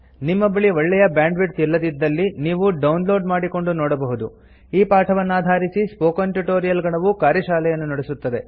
ನಿಮ್ಮ ಬಳಿ ಒಳ್ಳೆಯ ಬ್ಯಾಂಡ್ವಿಡ್ತ್ ಇಲ್ಲದಿದ್ದಲ್ಲಿ ನೀವು ಡೌನ್ಲೋಡ್ ಮಾಡಿಕೊಂಡು ನೋಡಬಹುದು ಈ ಪಾಠವನ್ನಾಧಾರಿಸಿ ಸ್ಪೋಕನ್ ಟ್ಯುಟೊರಿಯಲ್ ಗಣವು ಕಾರ್ಯಶಾಲೆಯನ್ನು ನಡೆಸುತ್ತದೆ